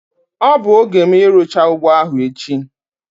Ọ bụ oge m irucha ugbo ahu echi